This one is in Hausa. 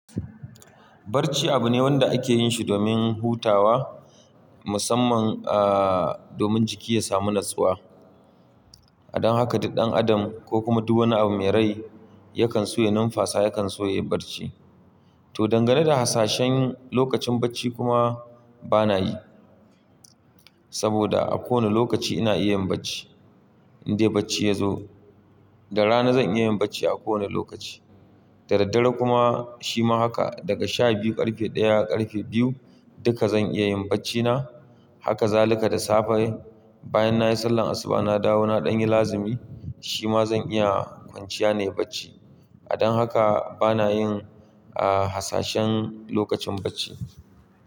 Barci abu ne wanda ake yin shi domin hutawa musamman, domin jiki ya samu natsuwa. A don haka duk ɗan adam ko kuma duk wani abu mai rai yakan so ya numfasa, yakan so ya yi barci. Toh, dangane da hasashen lokacin bacci kuma bana yi. Saboda a kowani lokaci ina iya yin bacci, in dai bacci ya zo. Da rana zan iya yin bacci a kowane lokaci, da daddare kuma shima haka. Daga sha biyu ƙarfe ɗaya, ƙarfe biyu duka zan iya yin bacci na. Haka zaluka da safe bayan nayi sallar asuba na dawo na ɗan yi lazimi shima zan iya kwanciya nayi bacci. A don haka bana yin, hasashen lokacin bacci.